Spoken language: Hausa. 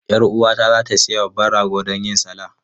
Yar uwata za ta sayi babban rago don yin salah.